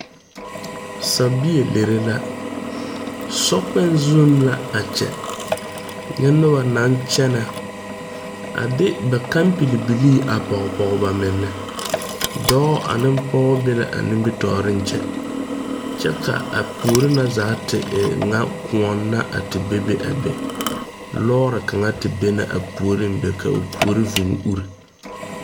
Sabie lere la sokpoŋ zuŋ la a kyɛ nyɛ noba naŋ kyɛnɛ a de ba kampilbilii pɔge ba mine dɔɔ ane pɔge be la a nimitɔɔreŋ kyɛ ka a puori na zaa te e ŋa kõɔ na a te bebe a be loori kaŋ te be na a puori be ka o puori vūū uri.